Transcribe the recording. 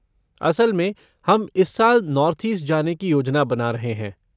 असल में हम इस साल नार्थ ईस्ट जाने की योजना बना रहे हैं।